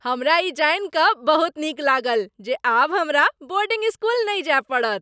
हमरा ई जानि कऽ बहुत नीक लागल जे आब हमरा बोर्डिंग स्कूल नहि जाय पड़त।